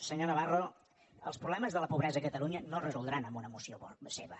senyor navarro els problemes de la pobresa a catalunya no es resoldran amb una moció seva